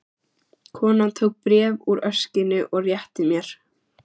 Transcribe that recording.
Konan tók bréf úr öskjunni og rétti mér.